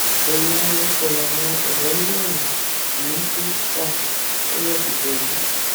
ẹyà ara oko làwọn ọrẹ mẹrin yìí ń tú ta tọwọ fi tẹ wọn